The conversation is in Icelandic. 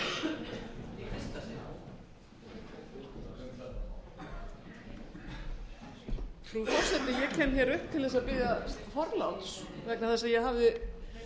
um að þeirgera það alltaf af góðum vilja en það hefur lengi verið þannig að hver þingmaður er sjálfráður um það hvenær hann talar og hvenær hann talar ekki